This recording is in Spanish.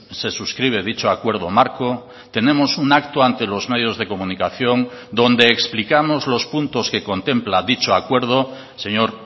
se suscribe dicho acuerdo marco tenemos un acto ante los medios de comunicación donde explicamos los puntos que contempla dicho acuerdo señor